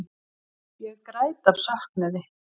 Ég græt af söknuði.